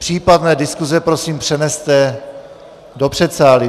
Případné diskuse prosím přeneste do předsálí.